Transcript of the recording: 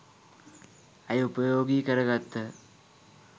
ඇය උපයෝගී කර ගත්හ.